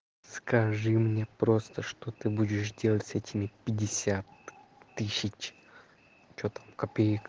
скажи мне просто что ты будешь делать с этими пятьдесят тысяч что там копеек